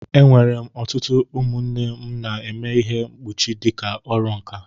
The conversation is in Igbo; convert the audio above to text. E nwere ọtụtụ ụmụnne m na-eme ihe mkpuchi dịka ọrụ nkà.